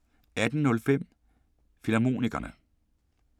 18:05: Filmharmonikerne